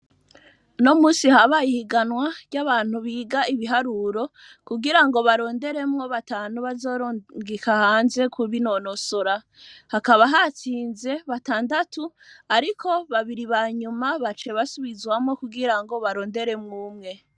Uno munsi habaye ihiganwa ry'abantu biga ibiharuro kugira ngo baronderemwo batanu bazorungika hanze kubinonosora. Hakaba hatsinze batandatu, ariko babiri banyuma baciye basubizwamwo kugira ngo baronderemwo umwe.